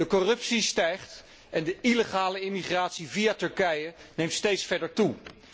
De corruptie stijgt en de illegale immigratie via Turkije neemt steeds verder toe